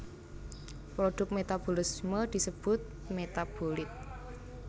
Produk metabolisme disebut metabolit